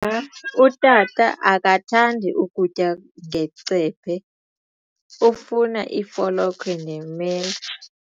Utata akathandi kutya ngecephe, ufuna ifolokhwe nemela.